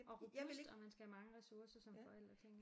Og robust og man skal have mange ressourcer som forældre tænker jeg